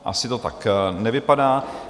Asi to tak nevypadá.